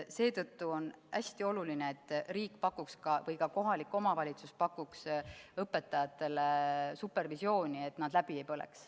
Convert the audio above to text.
Seetõttu on hästi oluline, et riik või ka kohalik omavalitsus pakuks õpetajatele supervisiooni, et nad läbi ei põleks.